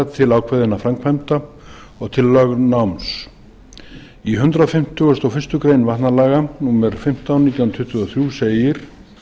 til ákveðinna framkvæmda og til lögnáms í hundrað fimmtugasta og fyrstu grein vatnalaga númer fimmtán nítján hundruð tuttugu og þrjú segir